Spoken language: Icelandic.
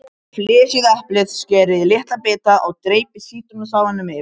Flysjið eplið, skerið í litla bita og dreypið sítrónusafanum yfir.